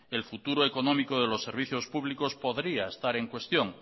el futuro económico de los servicios públicos podría estar en cuestión